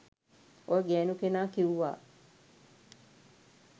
ඔය ගෑනු කෙනා කිවුවා